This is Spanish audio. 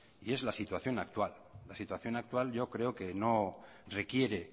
y es la situación actual la situación actual yo creo que no requiere